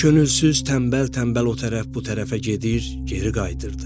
Könülsüz, tənbəl-tənbəl o tərəf bu tərəfə gedir, geri qayıdırdı.